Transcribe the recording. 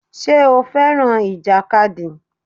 Ṣé o fẹ́ràn ìjàkadì?